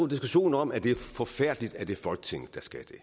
diskussion om at det er forfærdeligt at det er folketinget der skal det